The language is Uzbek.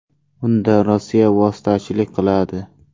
Unda Rossiya vositachilik qiladi.